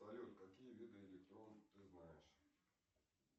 салют какие виды электрон ты знаешь